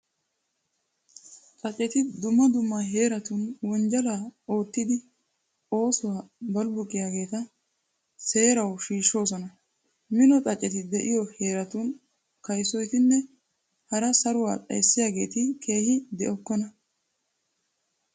Xaaceti dumma dumma heeratun wonjjalaa oottidi saruwaa balbbuqiyageeta seerawu shiishshoosona. Mino Xaaceti de'iyo heeratun kayssotinne hara saruwaa xayssiyageeti keehi de'okkona.